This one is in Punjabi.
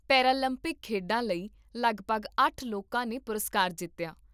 ਪੇਰਾਲੰਪਿਕ ਖੇਡਾਂ ਲਈ ਲਗਭਗ ਅੱਠ ਲੋਕਾਂ ਨੇ ਪੁਰਸਕਾਰ ਜਿੱਤਿਆ